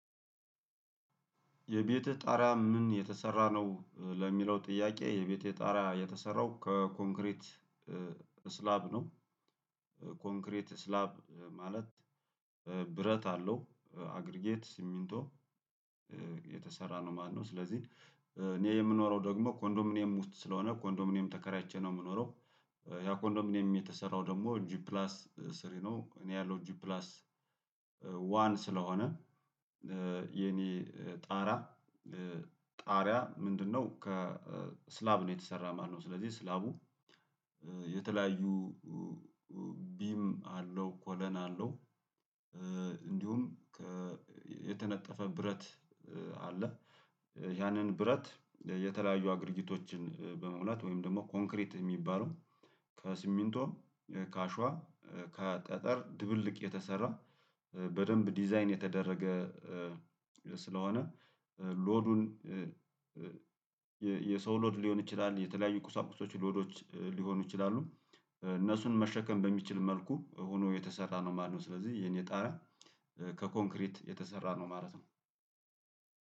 የቤትህ ጣሪያ ምን የተሰራ ነው? ለሚለው ጥያቄ የቤቴ ጣሪያ የተሰራው ከኮንክሪት ስላብ ነው። ኮንክሪት ስላብ ማለት ብረት አለው አግሪጌት ሲሚንቶ የተሰራ ነው ማለትነው። ስለዚህ እኔ የምኖረው ደግሞ ኮንዶሚኒየም ውስጥ ስለሆነ ኮንዶሚኒየም ተከራይቼ ነው የምኖረው። ያ ኮንዶሚኒየም የተሰራው ደግሞ ጂፕላስ ስሪ ነው። እኔ ያለው ጂፕላስ ዋን ስለሆነ የኔ ጣራ ጣሪያ ምንድነው ከስላብ ነው የተሰራ ማለትነው? ስለዚህ ስላቡ የተለያዩ ቢም አለው ኮለን አለው። እንዲሁም የተነጠፈ ብረት አለ። ያንን ብረት የተለያዩ አገርጊቶችን በመሙለድ ወይም ደግሞ ኮንክሪት የሚባለው ከስሚንቶ ከአሸዋ ከጠጠር ድብልቅ የተሰራ በደንብ ዲዛይን የተደረገ። ስለሆነ ሎዱን የሰው ሎድ ሊሆን ይችላል የተለያዩ ቁሳቁሶች ሎዶች ሊሆኑ ይችላሉ። እነሱን መሸከም በሚችል መልኩ ሆኖ የተሰራ ነው ማለት ነው። ስለዚህ የኔ ጣሪያ ከኮንክሪት የተሰራ ነው ማለት ነው።